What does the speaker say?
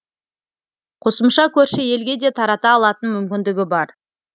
қосымша көрші елге де тарата алатын мүмкіндігі бар